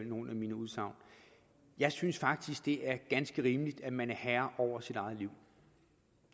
nogle af mine udsagn jeg synes faktisk det er ganske rimeligt at man er herre over sit eget liv